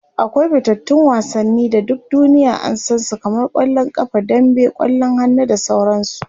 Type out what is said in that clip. akwai fitattun wasanni da duk duniya an San su kamar kwallon ƙafa dambe, kwallon hannu da sauransu